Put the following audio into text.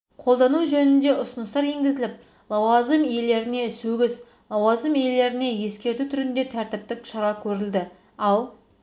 қолдану жөнінде ұсыныстар енгізіліп лауазым иелеріне сөгіс лауазым иелеріне ескерту түрінде тәртіптік шара көрілді ал